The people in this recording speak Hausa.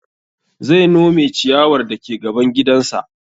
Zai nome ciyawar dake gaban gidan sa